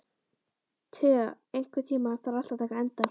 Thea, einhvern tímann þarf allt að taka enda.